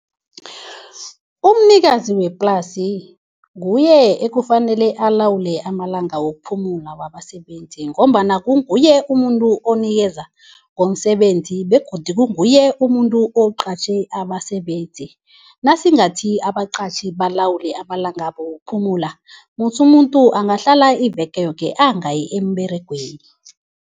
Umnikazi weplasi nguye ekufanele alawule amalanga wokuphumula wabasebenzi ngombana kunguye umuntu onikeza ngomsebenzi begodu kunguye umuntu oqatjhe abasebenzi. Nasingathi abaqatjhi balawule amalanga wokuphumula, musi umuntu angahlala iveke yoke angayi emberegweni.